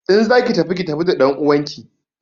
In za ki ki tafi da ɗanuwanki!